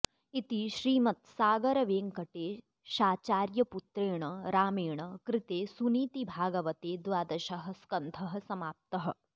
इति श्रीमत्सागरवेङ्कटेशाचार्यपुत्रेण रामेण कृते सुनीतिभागवते द्वादशः स्कन्धः समाप्तः